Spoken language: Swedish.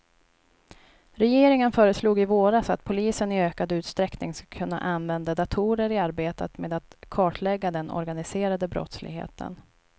Regeringen föreslog i våras att polisen i ökad utsträckning ska kunna använda datorer i arbetet med att kartlägga den organiserade brottsligheten.